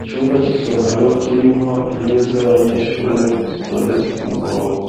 Icumba c'isomero kirimwo intebe z'abanyeshuri zitondetse ku murongo